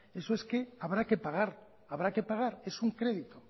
eso es que habrá que pagar es un crédito